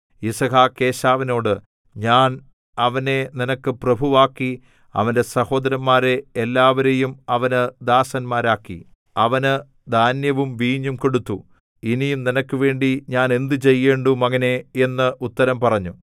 യിസ്ഹാക്ക് ഏശാവിനോട് ഞാൻ അവനെ നിനക്ക് പ്രഭുവാക്കി അവന്റെ സഹോദരന്മാരെ എല്ലാവരേയും അവന് ദാസന്മാരാക്കി അവന് ധാന്യവും വീഞ്ഞും കൊടുത്തു ഇനി നിനക്കുവേണ്ടി ഞാൻ എന്ത് ചെയ്യേണ്ടു മകനേ എന്ന് ഉത്തരം പറഞ്ഞു